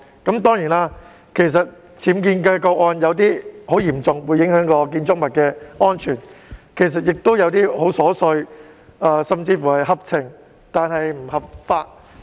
當然，有些僭建的個案很嚴重，會影響建築物的安全，亦有些個案很瑣碎，甚至是合情但不合法。